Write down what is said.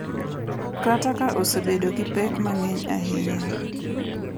Kata ka osebedo gi pek mang’eny ahinya.